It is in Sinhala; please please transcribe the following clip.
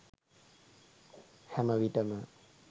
හැම විටම